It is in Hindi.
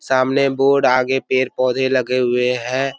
सामने बोर्ड आगे पेड़-पौधे लगे हुए है।